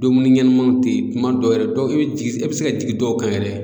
Dumuni ɲɛnamanw te yen kuma dɔw yɛrɛ dɔw be jigin e be se ka jigin dɔw kan yɛrɛ